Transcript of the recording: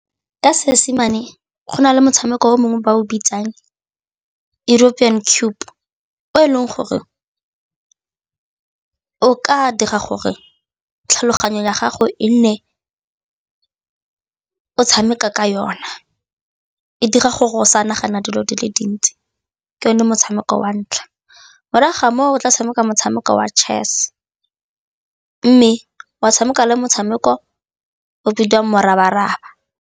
Ka Seesimane go na le motshameko o mongwe ba o bitsang o eleng gore o ka dira gore tlhaloganyo ya gago e nne o tshameka ka yona, e dira gore go sa nagana dilo di le dintsi ke yone motshameko wa ntlha. Morago ga moo o tla tshameka motshameko wa chess mme wa tshameka le motshameko o bidiwang morabaraba.